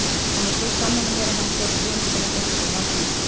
Hann var svo sammála mér að hann fór með hugmyndina beint niður á alþingi.